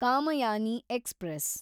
Kamayani express